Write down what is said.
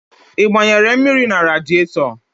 Ị gbanyere mmiri na radịetọ?